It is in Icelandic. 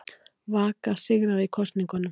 Vaka sigraði í kosningunum